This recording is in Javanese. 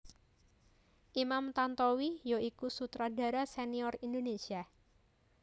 Imam Tantowi ya iku sutradara sénior Indonesia